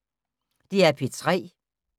DR P3